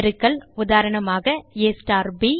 பெருக்கல் உதாரணமாக ab